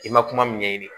I ma kuma min ɲɛɲini